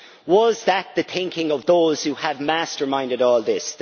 Was that the thinking of those who have masterminded all this?